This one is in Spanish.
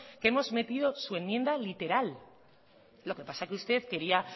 que hemos metido su enmienda literal lo que pasa es que usted quería